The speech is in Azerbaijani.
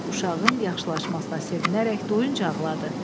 Uşağın yaxşılaşmasına sevinərək doyunca ağladı.